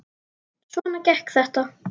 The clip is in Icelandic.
Svona gekk þetta.